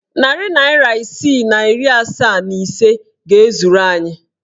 Narị naịra isii na iri asaa and ise ga-ezuru anyị.